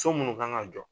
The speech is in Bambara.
So munnu kan ka jɔ